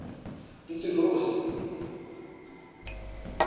pitirosi